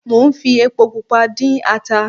Mo ń fi epo pupa dín ata